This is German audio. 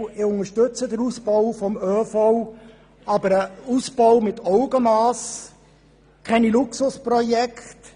Ich unterstütze den Ausbau, aber einen Ausbau mit Augenmass und keine Luxusprojekte.